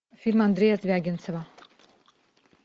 фильм андрея звягинцева